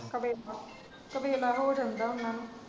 ਕੁਵੇਲਾ ਹੋ ਜਾਂਦਾ ਓਹਨਾ ਨੂੰ।